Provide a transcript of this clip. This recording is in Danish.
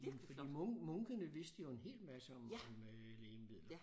Fordi munkene vidste jo en hel masse om om lægemidler